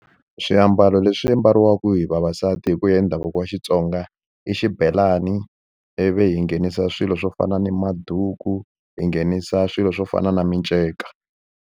Swiambalo leswi mbariwaka hi vavasati hi ku ya hi ndhavuko wa Xitsonga i xibelani ivi hi nghenisa swilo swo fana na maduku hi nghenisa swilo swo fana na miceka.